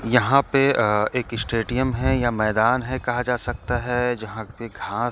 यहाँँ पे एक अ स्टेडिम है या मैदान हे कहाँ जा सकता हे जहाँ पे--